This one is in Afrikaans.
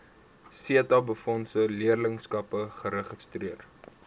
setabefondse leerlingskappe geregistreer